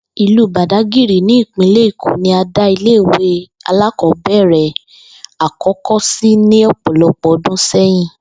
Ìlú Bàdágìrì ní ìpínlè̩ Èkó ni a dá ilé ìwé alákò̩ó̩bè̩rè̩ àkó̩kó̩ sí ní ò̩po̩̩lo̩pò̩ o̩dún sé̩yìn